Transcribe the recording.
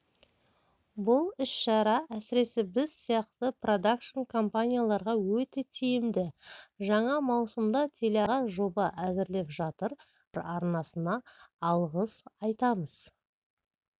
бұл іс-шара әсіресе біз сияқты продакшн компанияларға өте тиімді жаңа маусымда телеарнаға жоба әзірлеп жатыр хабар арнасына алғыс айтамыз